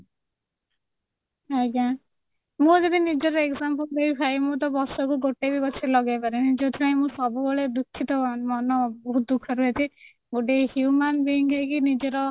ଆଜ୍ଞା ମୁଁ ଯଦି ନିଜର example ଦେବି ଭାଇ ମୁଁ ତ ବର୍ଷକୁ ଗୋଟେ ବି ଗଛ ଲଗେଇପାରେନି ଯୋଉଥିପାଇଁ ମୁଁ ସବୁବେଳେ ଦୁଖୀତଃ ମନ ବହୁତ ଦୁଖରେ ଅଛି ଗୋଟେ human being ହେଇକି ନିଜର